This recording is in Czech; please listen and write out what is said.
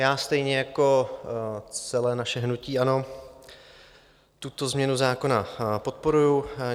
Já stejně jako celé naše hnutí ANO tuto změnu zákona podporuji.